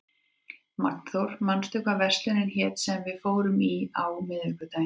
Magnþór, manstu hvað verslunin hét sem við fórum í á miðvikudaginn?